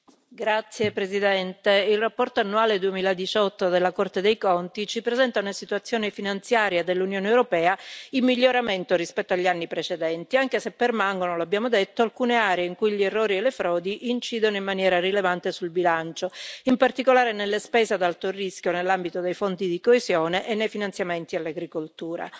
Signora Presidente, onorevoli colleghi, il rapporto annuale 2018 della Corte dei conti ci presenta una situazione finanziaria dell'Unione europea in miglioramento rispetto agli anni precedenti, anche se permangono, lo abbiamo detto, alcune aree in cui gli errori e le frodi incidono in maniera rilevante sul bilancio, in particolare nelle spese ad alto rischio nell'ambito dei fondi di coesione e nei finanziamenti all'agricoltura.